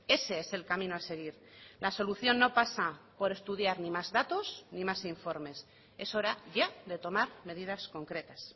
ese es el camino a seguir la solución no pasa por estudiar ni más datos ni más informes es hora ya de tomar medidas concretas